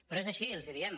però és així els ho diem